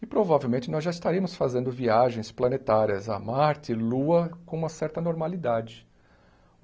E provavelmente nós já estaríamos fazendo viagens planetárias a Marte e Lua com uma certa normalidade.